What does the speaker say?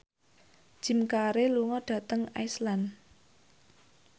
Jim Carey lunga dhateng Iceland